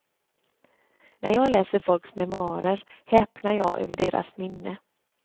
När jag läser folks memoarer häpnar jag över deras minne.